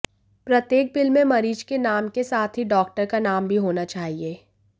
प्रत्येक बिल में मरीज के नाम के साथ ही डॉक्टर का नाम भी होना चाहिए